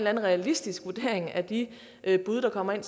anden realistisk vurdering af de bud der kommer ind